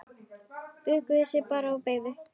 Bukkuðu sig bara og beygðu!